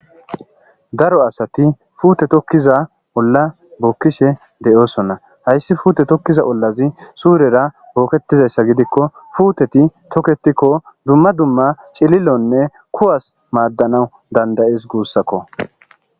daro asati puute tokkiza olla bookkishe deyosonna hayssi fuute tokkiza ollazi suurera booketizayssa gidikko puuteti tokketikko dumma dumma cililonne kuwas maaddanawu dandayees guussakko